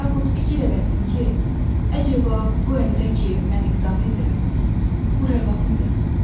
Yaxud fikir eləsin ki, əcəba bu əmrə ki, mən iqdam edirəm, bu rəvamıdır?